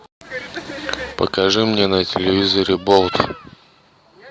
покажи мне на телевизоре болт